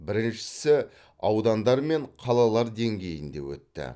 біріншісі аудандар мен қалалар деңгейінде өтті